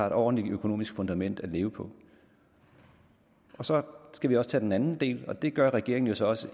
et ordentligt økonomisk fundament at leve på så skal vi også tage den anden del og det gør regeringen jo så også